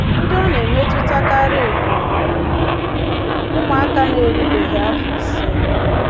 Ndị ọ na-emetụtakarị bụ ụmụaka na-erubeghị afọ ise.